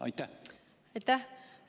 Aitäh!